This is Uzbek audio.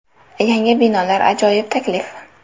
Yangi binolar ajoyib taklif!.